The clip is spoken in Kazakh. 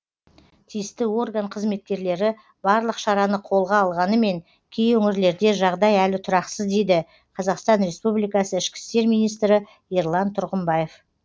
тиісті орган қызметкерлері барлық шараны қолға алғанымен кей өңірлерде жағдай әлі тұрақсыз дейді қазақстан республикасы ішкі істер министрі ерлан тұрғымбаев